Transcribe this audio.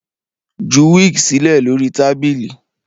Ju wig silẹ lori tabili